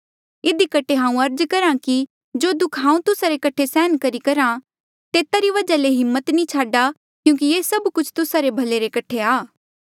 इधी कठे हांऊँ अर्ज करहा कि जो दुःख हांऊँ तुस्सा रे कठे सहन करी करहा तेता री वजहा ले हिम्मत नी छाडा क्यूंकि ये सब कुछ तुस्सा रे भले रे कठे आ